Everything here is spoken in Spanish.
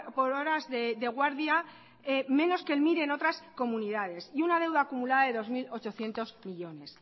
por horas de guardia menos que el mir en otras comunidades y una deuda acumulada de dos mil ochocientos millónes